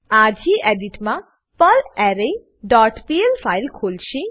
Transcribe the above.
આ ગેડિટ માં perlre dot PL file ખોલશે